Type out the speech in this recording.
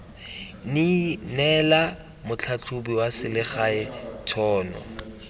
neela motlhatlhobi wa selegae tšhono